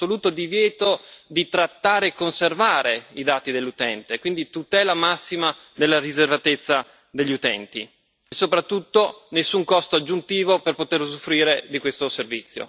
assoluto divieto di trattare e conservare i dati dell'utente e, quindi, tutela massima della riservatezza degli utenti e soprattutto, nessun costo aggiuntivo per poter usufruire di questo servizio.